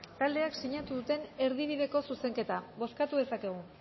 taldeak sinatu duten erdibideko zuzenketa bozkatu dezakegu